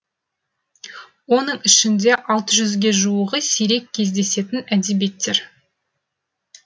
оның ішінде алты жүзге жуығы сирек кезедесетін әдебиеттер